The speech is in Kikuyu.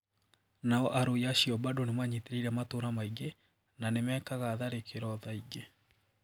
No arũi acio bado manyitiriire matũra maingi na nimekaga tharĩkĩro thaa ingi.